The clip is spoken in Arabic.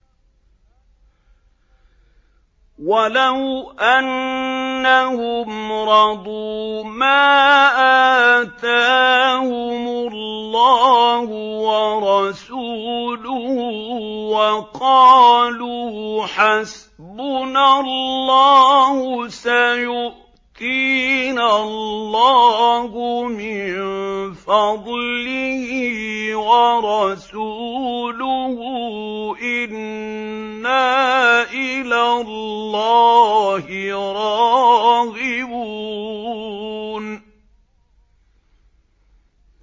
وَلَوْ أَنَّهُمْ رَضُوا مَا آتَاهُمُ اللَّهُ وَرَسُولُهُ وَقَالُوا حَسْبُنَا اللَّهُ سَيُؤْتِينَا اللَّهُ مِن فَضْلِهِ وَرَسُولُهُ إِنَّا إِلَى اللَّهِ رَاغِبُونَ